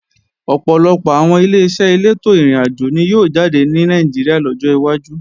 Ọ̀pọ̀lọpọ̀ àwọn Ileṣẹ́ elétò ìrìnàjò ni yóò jáde ní Nàìjíríà lọ́jọ́ wájú